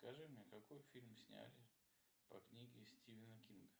скажи мне какой фильм сняли по книге стивена кинга